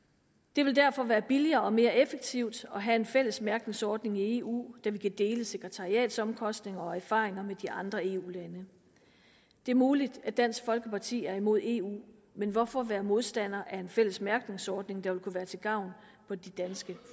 det vil derfor være billigere og mere effektivt at have en fælles mærkningsordning i eu da vi kan dele sekretariatsomkostninger og erfaringer med de andre eu lande det er muligt at dansk folkeparti er imod eu men hvorfor være modstander af en fælles mærkningsordning der vil kunne være til gavn for de danske